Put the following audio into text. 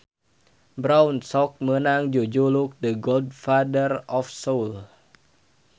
Brown sok meunang jujuluk The Godfather of Soul.